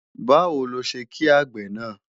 Báwo ló ṣe kí àgbè náà?